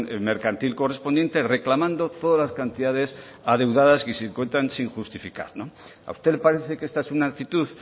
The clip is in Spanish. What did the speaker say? mercantil correspondiente reclamando todas las cantidades adeudadas que se encuentran sin justificar no a usted le parece que es una actitud